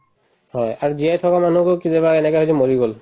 হয়, আৰু জীয়াই থকা মানুহকো কেতিয়াবা এনেকুৱা হয় যে মৰি গল